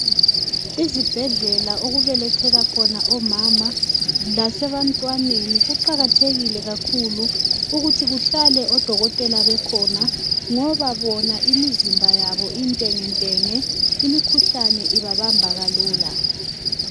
Izibhedlela okubelethela khona omama lasebantwaneni kuqakathekile kakhulu ukuthi kuhlale odokotela bekhona ngoba bona imizimba yabo intengentenge imikhuhlane ibabamba kalula.